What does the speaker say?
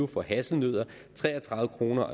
for hasselnødder tre og tredive kroner